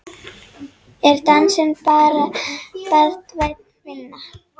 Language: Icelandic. Er dansinn barnvæn vinna?